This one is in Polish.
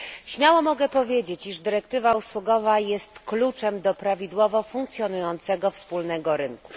Śmiało mogę powiedzieć, iż dyrektywa usługowa jest kluczem do prawidłowo funkcjonującego wspólnego rynku.